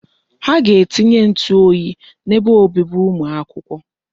Ha ga-etinye ntụ oyi n'ebe obibi ụmụ akwụkwọ.